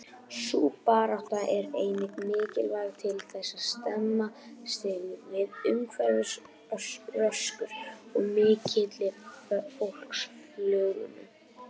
Sú barátta er einnig mikilvæg til þess að stemma stigu við umhverfisröskun og mikilli fólksfjölgun.